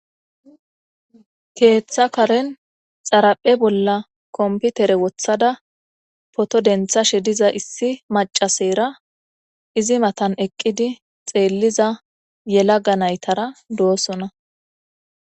Keeththa karen xaraphe bolla komputere wothada poto denthashe diza issi macaseyra izi matan eqqidi xeelliza yelaga naytara doosona.